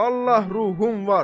Vallahi ruhum var.